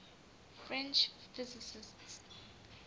french physicists